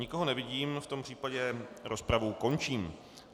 Nikoho nevidím, v tom případě rozpravu končím.